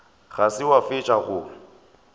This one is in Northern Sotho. ga se wa fetša go